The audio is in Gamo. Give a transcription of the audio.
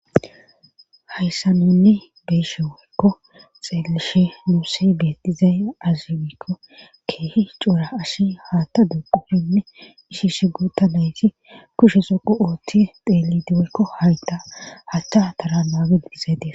Hayssa nunni beeshe woykko xeelishe muuse beetizay azibikko keehi coura ashi haatta duqupfinne ishishe gotanayti kushe soqu ootti deelidieykko hayta hachcha tara maageddizaytie.